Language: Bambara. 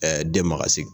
den magasigi